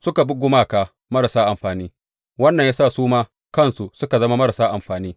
Suka bi gumaka marasa amfani, wannan ya sa su ma kansu suka zama marasa amfani.